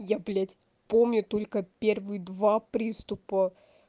я блядь помню только первые два приступа